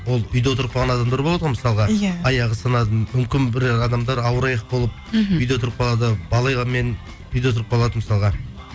ол үйде отырып қалған адамдар болады ғой мысалға иә аяғы сынады мүмкін бір адамдар ауыр аяқ болып мхм үйде отырып қалады үйде отырып қалады мысалға